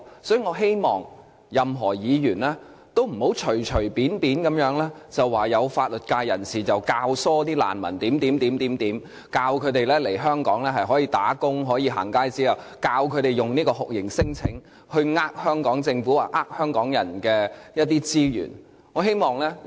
所以，我希望任何議員都不要隨意地說有法律界人士教唆難民來港，說來港可以工作及取得"行街紙"，並教導他們利用酷刑聲請欺騙香港政府及香港人的資源。